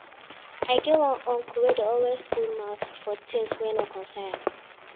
I get one uncle wey dey always put mouth for tins wey no concern am.